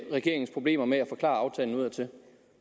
regeringen problemer med at forklare aftalen udadtil